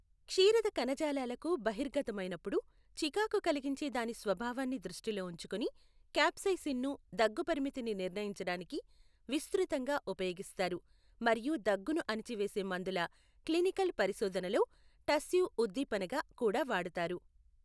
క్షీరద కణజాలాలకు బహిర్గతమైనప్పుడు చికాకు కలిగించే దాని స్వభావాన్ని దృష్టిలో ఉంచుకుని క్యాప్సైసిన్ను దగ్గు పరిమితిని నిర్ణయించడానికి విస్తృతంగా ఉపయోగిస్తారు, మరియు దగ్గును అణిచివేసే మందుల క్లినికల్ పరిశోధనలో టస్సివ్ ఉద్దీపనగా కూడా వాడతారు.